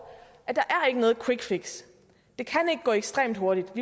at der er noget quick fix det kan ikke gå ekstremt hurtigt